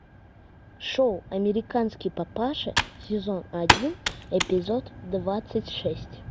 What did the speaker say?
шоу американский папаша сезон один эпизод двадцать шесть